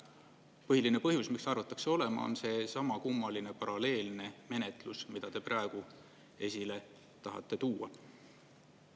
Põhiline põhjus, miks arvataks see olema, on seesama kummaline paralleelne menetlus, mida te praegu esile tahate tuua.